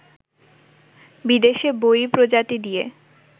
বিদেশি বৈরী প্রজাতি দিয়ে